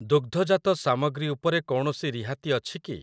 ଦୁଗ୍ଧଜାତ ସାମଗ୍ରୀ ଉପରେ କୌଣସି ରିହାତି ଅଛି କି?